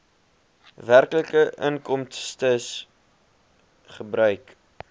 werklike inkomstes gebruik